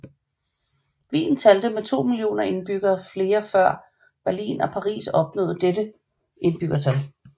Wien talte to millioner indbyggere flere år før Berlin og Paris opnåede dette indbyggertal